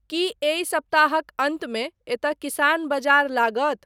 की एहि सप्ताहक अन्तमे एतय किसान बजार लागत ?